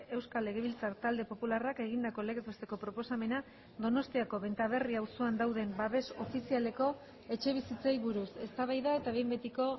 euskal legebiltzar talde popularrak egindako legez besteko proposamena donostiako benta berri auzoan dauden babes ofizialeko etxebizitzei buruz eztabaida eta behin betiko